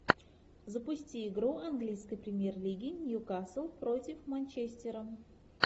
запусти игру английской премьер лиги ньюкасл против манчестера